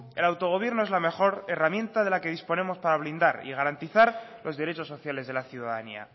el autogobierno es la mejor herramienta de la que disponemos para blindar y garantizar los derechos sociales de la ciudadanía